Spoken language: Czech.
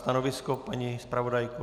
Stanovisko, paní zpravodajko?